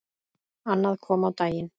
Annað kom á daginn.